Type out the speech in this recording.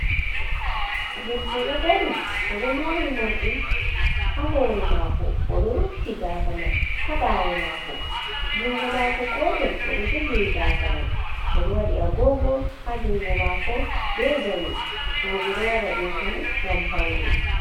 Debbo ɗo dari bo ɗo mori morɗi ha hore mako o ɗo rufiti gasa man ha ɓawo mako, jungo mako gotel bo ɗo jogiri gasa man, odo waɗi agogo ha jungo mako be jawe, roɓe doy wada ɗo fu ngam faune.